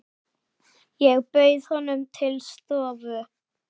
Ég bauð honum til stofu.